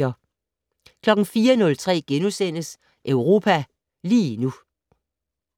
04:03: Europa lige nu *